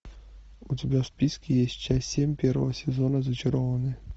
у тебя в списке есть часть семь первого сезона зачарованные